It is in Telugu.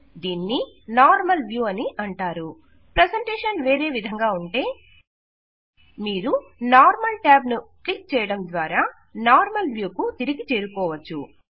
దీనిని నార్మల్ వ్యూ అంటారు ప్రెజెంటేషన్ వేరే విధంగా ఉంటే మీరు నార్మల్ ట్యాబ్ ను కిక్ చేయడం ద్వారా నార్మల్ వ్యూ కు తిరిగి చేరుకోవచ్చు